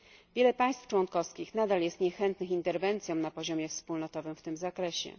Wiele państw członkowskich nadal jest niechętnych interwencjom na poziomie wspólnotowym w tym zakresie.